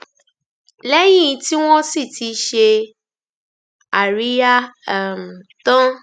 lẹyìn tí wọn sì ti ṣe àríyá um tán